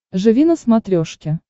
живи на смотрешке